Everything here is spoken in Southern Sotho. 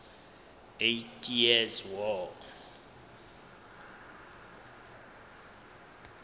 eighty years war